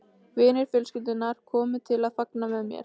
Vinir fjölskyldunnar komu til að fagna með mér.